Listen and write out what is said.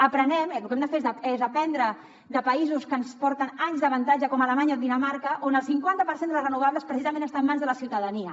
aprenguem lo que hem de fer és aprendre de països que ens porten anys d’avantatge com alemanya o dinamarca on el cinquanta per cent de les renovables precisament està en mans de la ciutadania